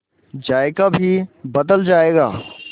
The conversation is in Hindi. जायका भी बदल जाएगा